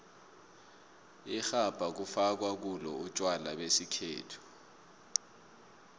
irhabha kufakwa kulo utjwala besikhethu